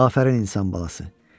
Afərin insan balası.